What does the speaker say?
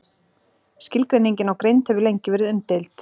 Skilgreiningin á greind hefur lengi verið umdeild.